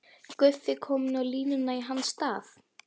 Guffi kominn á línuna í hans stað!